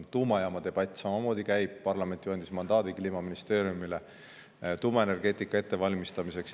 Tuumajaama debatt käib samamoodi, parlament ju andis Kliimaministeeriumile mandaadi tuumaenergeetika ettevalmistamiseks.